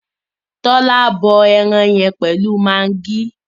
Tola bọ ẹran yẹn pẹlú Maggi.